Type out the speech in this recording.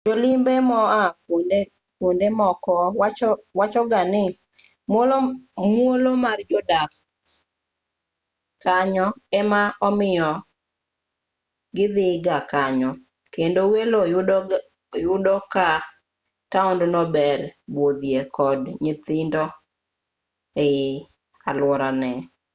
jolimbe moa kuondemoko wachoga ni muolo mar jodak kanyo ema omiyo kidhigaa kanyo kendo welo yudo ka taondno ber budhie kod nyithindo e aluorane